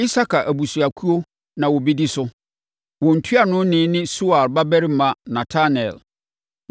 Isakar abusuakuo na wɔbɛdi so. Wɔn ntuanoni ne Suar babarima Netanel.